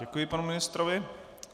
Děkuji panu ministrovi.